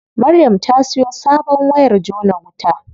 Maryam ta siyo sabon wayar jona wuta.